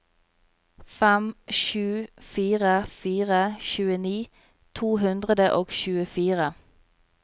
fem sju fire fire tjueni to hundre og tjuefire